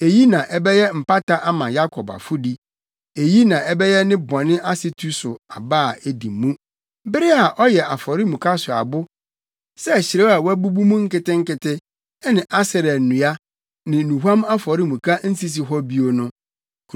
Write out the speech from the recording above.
Eyi na ɛbɛyɛ mpata ama Yakob afɔdi, eyi na ɛbɛyɛ ne bɔne asetu so aba a edi mu: bere a ɔyɛ afɔremuka so abo sɛ hyirew a wɔabubu mu nketenkete, na Asera nnua ne nnuhuam afɔremuka nsisi hɔ bio no.